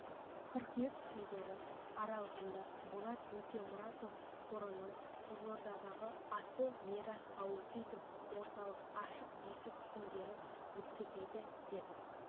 қыркүйек күндері аралығында болат өтемұратов қорының қызылордадағы асыл мирас аутизм орталығы ашық есік күндерін өткізеді деп